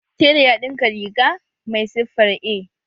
Tela ya ɗinka riga mai siffar A